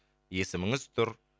есіміңіз тұр